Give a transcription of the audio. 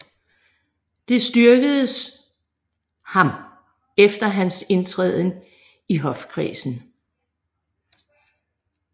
Det styrkedes ham efter hans indtræden i hofkredsen